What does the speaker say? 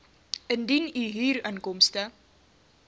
indien u huurinkomste